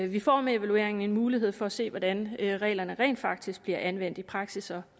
vi får med evalueringen en mulighed for at se hvordan reglerne rent faktisk bliver anvendt i praksis